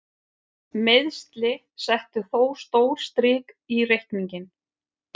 Meiðsli settu þó stór strik í reikninginn.